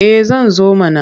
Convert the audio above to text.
Eh zan zo mana.